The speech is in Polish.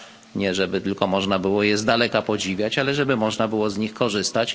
nie żeby tylko można było je podziwiać z daleka, ale żeby można było z nich korzystać.